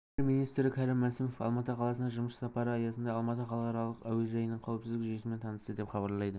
премьер-министрі кәрім мәсімов алматы қаласына жұмыс сапары аясында алматы халықаралық әуежайының қауіпсіздік жүйесімен танысты деп хабарлайды